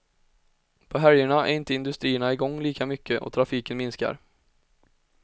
På helgerna är inte industrierna i gång lika mycket och trafiken minskar.